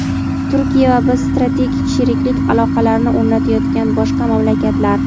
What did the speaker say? Turkiya va biz strategik sheriklik aloqalarini o‘rnatayotgan boshqa mamlakatlar.